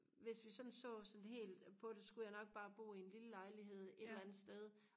hvis vi sådan så sådan helt på det så skulle jeg nok bo i en lille lejlighed et eller andet sted